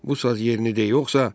Bu saz yerinədir yoxsa?